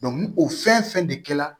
ni o fɛn fɛn de kɛ la